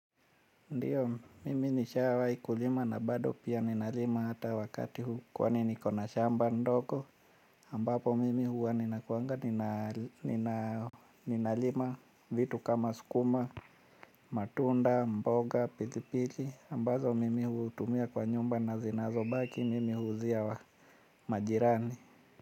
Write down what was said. Ndiyo, mimi nishawai kulima na bado pia ninalima hata wakati huu kwani niko na shamba ndogo ambapo mimi huwa nina kuanga nina, ninalima vitu kama sukuma, matunda, mboga, pilipili ambazo mimi hutumia kwa nyumba na zinazo baki mimi huzia wa, majirani.